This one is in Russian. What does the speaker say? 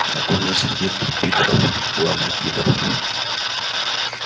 так он тоже среди этих пидоров главный пидор